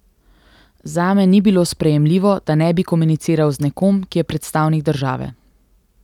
Zame ni bilo sprejemljivo, da ne bi komuniciral z nekom, ki je predstavnik države.